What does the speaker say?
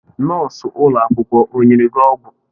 Nọọsụ ụlọ akwụkwọ o nyere gị ọgwụ?